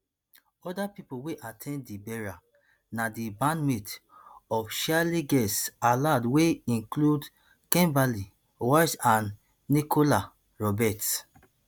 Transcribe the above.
oda pipo wey at ten d di burial na di bandmates of cheryl girls aloud wey include kimberly walsh and nicola roberts